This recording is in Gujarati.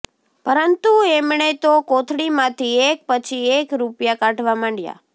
પરંતુ એમણે તો કોથળીમાંથી એક પછી એક રૂપિયા કાઢવા માંડ્યા